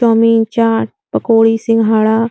chowmein chaat pakodi सिंघाड़ा --